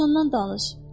Dovşandan danış.